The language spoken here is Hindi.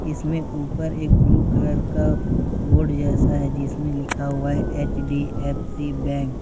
इसमें ऊपर एक ब्लू कलर का बोर्ड जैसा है जिसमें लिखा हुआ है H D F C bank.